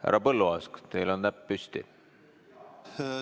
Härra Põlluaas, kas teil on näpp püsti?